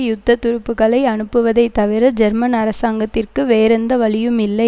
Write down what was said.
யுத்தத் துருப்புக்களை அனுப்புவதை தவிர ஜெர்மன் அரசாங்கத்திற்கு வேறெந்த வழியும் இல்லை